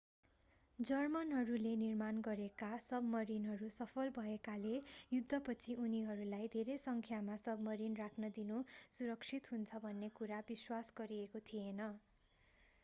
जर्मनहरूले निर्माण गरेका सबमरिनहरू सफल भएकाले युद्धपछि उनीहरूलाई धेरै सङ्ख्यामा सबमरिन राख्न दिनु सुरक्षित हुन्छ भन्ने कुरा विश्वास गरिएको थिएन